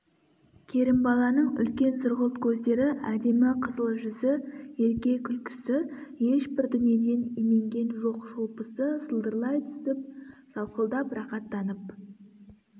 керімбаланың үлкен сұрғылт көздері әдемі қызыл жүзі ерке күлкісі ешбір дүниеден именген жоқ шолпысы сылдырлай түсіп сақылдап рақаттанып